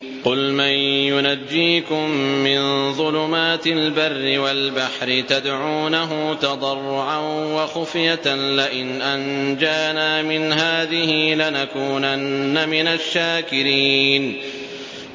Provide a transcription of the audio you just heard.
قُلْ مَن يُنَجِّيكُم مِّن ظُلُمَاتِ الْبَرِّ وَالْبَحْرِ تَدْعُونَهُ تَضَرُّعًا وَخُفْيَةً لَّئِنْ أَنجَانَا مِنْ هَٰذِهِ لَنَكُونَنَّ مِنَ الشَّاكِرِينَ